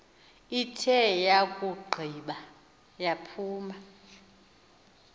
ithe yakugqiba yaphuma